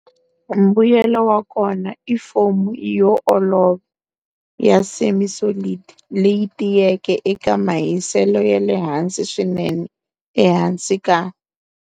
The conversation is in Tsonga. Mbuyelo wakona i foam yo olova, ya semi-solid leyi tiyeke eka mahiselo yale hansi swinene ehansi ka,